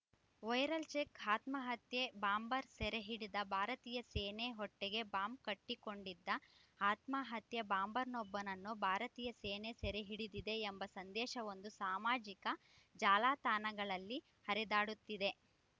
viral check ಆತ್ಮಹತ್ಯಾ bomber ಸೆರೆಹಿಡಿದ ಭಾರತೀಯ ಸೇನೆ ಹೊಟ್ಟೆಗೆ ಬಾಂಬ್‌ ಕಟ್ಟಿಕೊಂಡಿದ್ದ ಆತ್ಮಹತ್ಯಾ ಬಾಂಬರ್‌ನೊಬ್ಬನನ್ನು ಭಾರತೀಯ ಸೇನೆ ಸೆರೆಹಿಡಿದಿದೆ ಎಂಬ ಸಂದೇಶವೊಂದು ಸಾಮಾಜಿಕ ಜಾಲತಾಣಗಳಲ್ಲಿ ಹರಿದಾಡುತ್ತಿದೆ